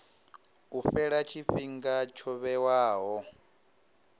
u fhela tshifhinga tsho vhewaho